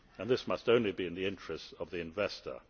tape. This must only be in the interests of the investor.